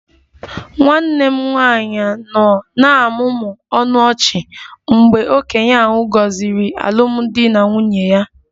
Nwanne m nwanyị nọ na-amụmụ ọnụ ọchị mgbe okenye ahụ gọziri alụmdi na nwunye ya